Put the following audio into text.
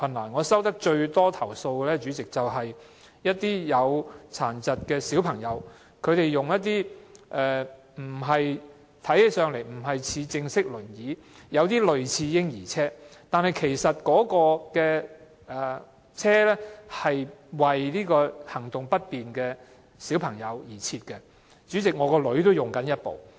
主席，我收到最多投訴的是，一些身體有殘疾的小朋友使用的輪椅，雖然看起來不是正式的輪椅，而是有點類似嬰兒車，但那種輪椅是特別為行動不便的小朋友而設，主席，我的女兒也正在使用。